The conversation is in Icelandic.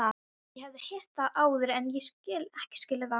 Ég hafði heyrt það áður en ekki skilið það.